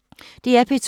DR P2